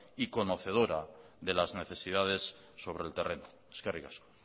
y conocedora de las necesidades sobre el terreno eskerrik asko